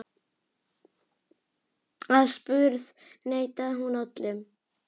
Aðspurð neitaði hún öllu.